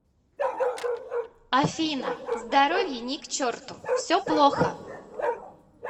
афина здоровье ни к черту все плохо